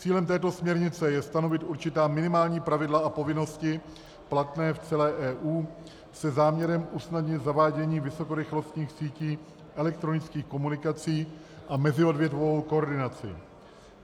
Cílem této směrnice je stanovit určitá minimální pravidla a povinnosti platné v celé EU se záměrem usnadnit zavádění vysokorychlostních sítí elektronických komunikací a meziodvětvovou koordinaci.